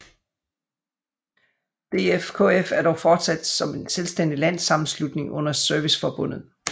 DFKF er dog fortsat som en selvstændig landssammenslutning under Serviceforbundet